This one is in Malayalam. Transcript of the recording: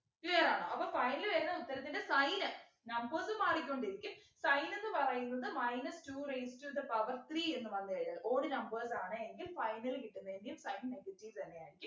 clear ആണോ അപ്പൊ final വരുന്ന ഉത്തരത്തിൻ്റെ sign numbers ഉം മാറിക്കൊണ്ടിരിക്കും sign എന്ന് പറയുന്നത് minus two raised to the power three എന്ന് പറഞ്ഞു വരും odd numbers ആണ് എങ്കിൽ final കിട്ടുന്നതിന്റെയും sign negative തന്നെയായിരിക്കും